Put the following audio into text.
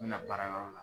N bɛna baara yɔrɔ la